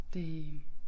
Damn